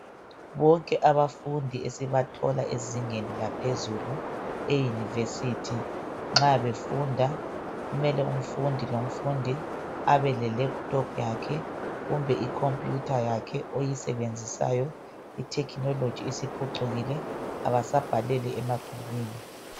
Bonke abafundi esibathola ezingeni laphezulu euniversity nxa befunda kumele umfundi lo mfundi abe lelephuthophu yakhe kumbe ikhompuyutha yakhe oyisebenzisayo itechnology isiphucukile abasabhaleli emabhukwini.